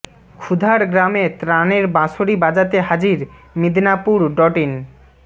ক্ষুধার গ্রামে ত্রাণের বাঁশরি বাজাতে হাজির মিদনাপুর ডট ইন